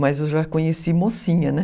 Mas eu já conheci mocinha, né?